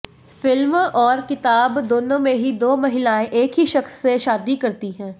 film और किताब दोनों में ही दो महिलाएं एक ही शख्स से शादी करती है